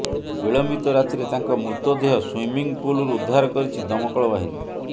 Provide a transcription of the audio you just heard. ବିଳମ୍ବିତ ରାତିରେ ତାଙ୍କ ମୃତଦେହ ସୁଇମିଂ ପୁଲ୍ ରୁ ଉଦ୍ଧାର କରିଛି ଦମକଳବାହିନୀ